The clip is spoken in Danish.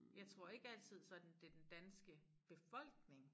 Jeg tror ikke altid sådan det den danske befolkning